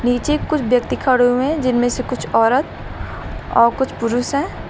नीचे कुछ व्यक्ति खड़े हुए हैं जिनमें से कुछ औरत और कुछ पुरुष हैं।